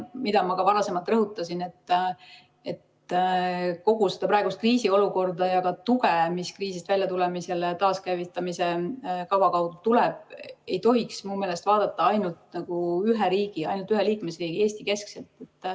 Ma ka varasemalt rõhutasin, et kogu seda praegust kriisiolukorda ja tuge, mis kriisist väljatulemisele taaskäivitamise kava kaudu tuleb, ei tohiks minu meelest vaadata ainult ühe riigi, ainult ühe liikmesriigi, Eesti keskselt.